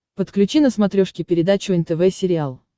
подключи на смотрешке передачу нтв сериал